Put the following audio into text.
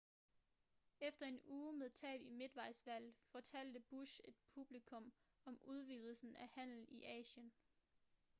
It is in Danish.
efter en uge med tab i midtvejsvalget fortalte bush et publikum om udvidelsen af handel i asien